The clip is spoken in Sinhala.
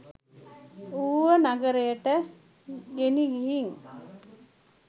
ඌව නගරයට ගෙනිහින්